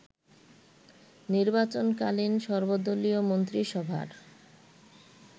নির্বাচনকালীন সর্বদলীয় মন্ত্রিসভার